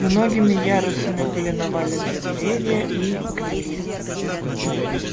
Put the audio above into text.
многими ярусами были навалены деревья и гнили